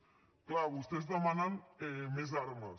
és clar vostès demanen més armes